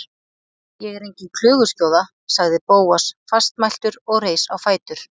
Ég er engin klöguskjóða- sagði Bóas fastmæltur og reis á fætur.